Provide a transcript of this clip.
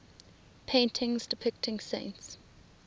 paintings depicting saints